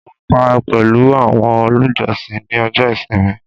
mo pa pẹlu awọn olùjọsìn ni ọjọ ìsinmi